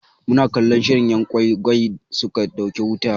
Muna cikin kallon shirin 'yan gwai gwai suka ɗauke wuta.